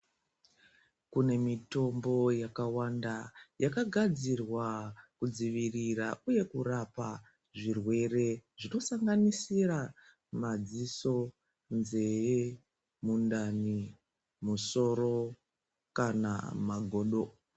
Kunemitombo yakawanda yakagadzirwa kudzivirira uye kurapa zvirwere zvinosanganisira madziso, nzeve, mundani, musoro kana magodo.